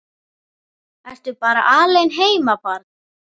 Ertu bara alein heima barn?